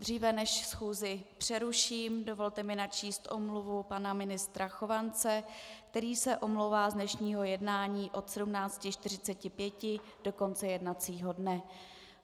Dříve než schůzi přeruším, dovolte mi přečíst omluvu pana ministra Chovance, který se omlouvá z dnešního jednání od 17.45 do konce jednacího dne.